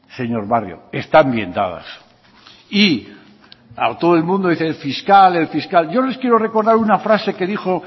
señor barrio están bien dadas y todo el mundo dice el fiscal el fiscal yo les quiero recordar una frase que dijo